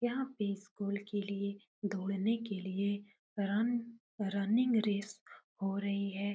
यहाँ पे स्कुल के लिए दौड़ने के लिए रन रनिंग रेस हो रही है।